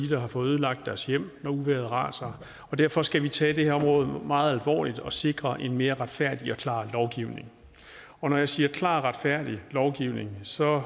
der har fået ødelagt deres hjem når uvejret raser og derfor skal vi tage det her område meget alvorligt og sikre en mere retfærdig og klar lovgivning og når jeg siger klar og retfærdig lovgivning så er